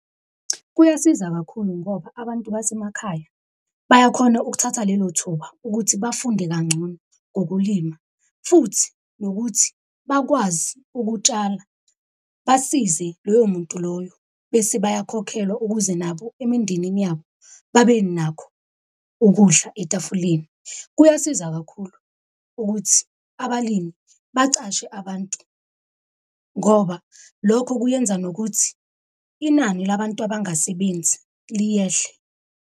Kuyasiza kakhulu ngoba abantu basemakhaya bayakhona ukuthatha lelo thuba ukuthi bafunde kangcono ngokulima, futhi nokuthi bakwazi ukutshala basize loyo muntu loyo. Bese bayakhokhelwa ukuze nabo emindenini yabo babenakho ukudla etafuleni. Kuyasiza kakhulu ukuthi abalimi baqashe abantu ngoba lokho kuyenza nokuthi inani labantu abangasebenzi liyehle.